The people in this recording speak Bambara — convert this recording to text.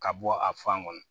Ka bɔ a fan kɔnɔ